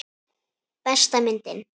Besta myndin.